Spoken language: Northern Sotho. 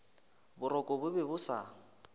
boroko bo be bo sa